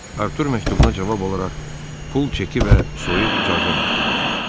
Artur məktubuna cavab olaraq pul çeki və soyuq icazə məktubu aldı.